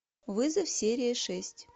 вызов серия шесть